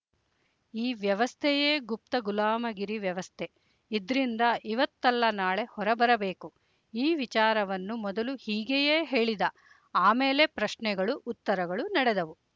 ಈ ವ್ಯವಸ್ಥೆಯೇ ಗುಪ್ತ ಗುಲಾಮಗಿರಿ ವ್ಯವಸ್ಥೆ ಇದ್ರಿಂದ ಇವತ್ತಲ್ಲ ನಾಳೆ ಹೊರಬರಬೇಕು ಈ ವಿಚಾರವನ್ನು ಮೊದಲು ಹೀಗೆಯೇ ಹೇಳಿದ ಆಮೇಲೆ ಪ್ರಶ್ನೆಗಳು ಉತ್ತರಗಳು ನಡೆದವು